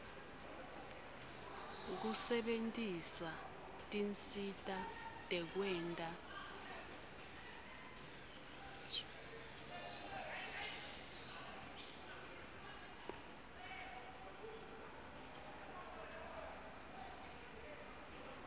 kusebentisa tinsita tekwenta